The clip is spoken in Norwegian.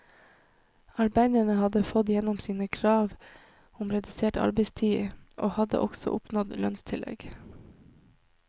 Arbeiderne hadde fått gjennom sine krav om redusert arbeidstid, og hadde også oppnådd lønnstillegg.